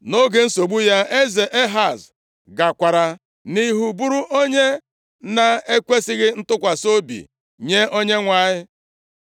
Nʼoge nsogbu ya, eze Ehaz gakwara nʼihu bụrụ onye na-ekwesighị ntụkwasị obi nye Onyenwe anyị.